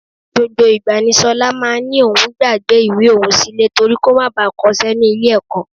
Gbogbo ìgbà ni ṣọlá máa ń ní òun gbàgbé ìwé òun sílẹ̀ torí kó má baà kọṣẹ́ ní ilé ẹ̀kọ́